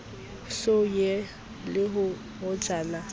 so ye le hojana a